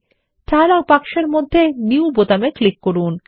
dialogue বক্সের মধ্যে new বোতামে ক্লিক করুন